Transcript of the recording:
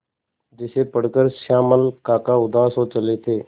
जिसे पढ़कर श्यामल काका उदास हो चले थे